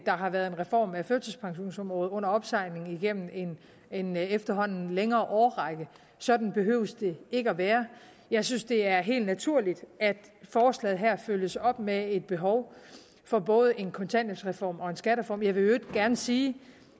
har været en reform af førtidspensionsområdet under opsejling igennem en efterhånden længere årrække sådan behøver det ikke at være jeg synes det er helt naturligt at forslaget her følges op af et behov for både en kontanthjælpsreform og en skattereform jeg vil i øvrigt gerne sige